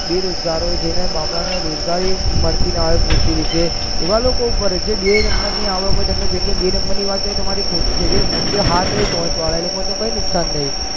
બેરોજગારી જે ને બાપરા ને રોજગારી મળતી ના હોય પૂરતી તેવી રીતે એવા લોકો ઉભા રહે જેને બે નંબર ની આવક હોય તમે જે બે નંબર ની વાત કરો એ આવા તમારી વાત ખોટી છે જે મોટે હાથ હોય પોચ વારા એવોને તો કઈ નુકસાન નહીં